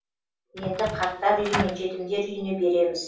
енді қарттар үйі мен жетімдер үйіне береміз